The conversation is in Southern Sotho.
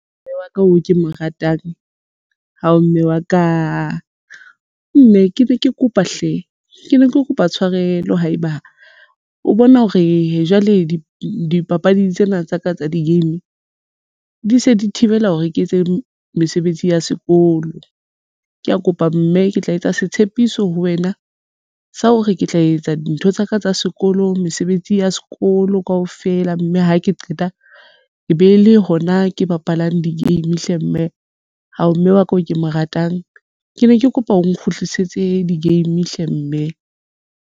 Mme wa ka oo ke mo ratang hao mme wa ka mme ke ne ke kopa hle ke ne ke kopa tshwarelo haeba o bona hore jwale dipapading tsena tsa ka tsa di-game di se di thibela hore ke etse mesebetsi ya sekolo ke ya kopa mme ke tla etsa setshepiso ho wena sa hore ke tla etsa dintho tsaka tsa sekolo mesebetsi ya sekolo leo kaofela mme ha ke qeta e be le hona ke bapalang di-game hle, mme hao mme wa ka o ke mo ratang ke ne ke kopa o nkgutlisetse di-game hle mme.